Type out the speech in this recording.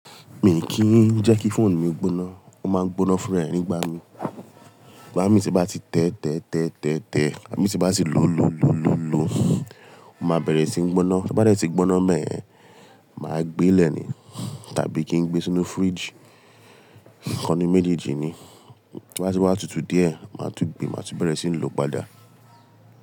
Mi kì í n jẹ́ kí fóònù mi gbóná. Ó máa ń gbóná fúnra ẹ nígbà mí. Igbá mi tí bá ti tẹ́, tẹ́, tẹ́, tẹ́, tẹ́, igbá mi tí bá ti ló, ló, ló, ló, ló, ó máa bẹ̀rẹ̀ sí ń gbóná. Tí ó bá dẹ́ ti gbóná beyen, màá gbé lè ní tàbí kí n gbé sínú fridge. Kan nu méjèèjì ni. To bá tí wá tutù díẹ̀, màá tún gbe, màá tún bẹ̀rẹ̀ sí ń lò padà.